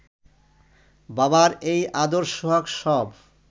বাবার এই আদর সোহাগ সব